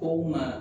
O maa